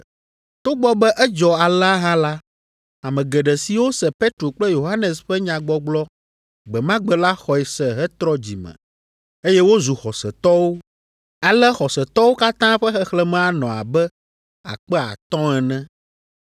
Togbɔ be edzɔ alea hã la, ame geɖe siwo se Petro kple Yohanes ƒe nyagbɔgblɔ gbe ma gbe la xɔe se hetrɔ dzi me, eye wozu xɔsetɔwo. Ale xɔsetɔwo katã ƒe xexlẽme anɔ abe akpe atɔ̃ ene.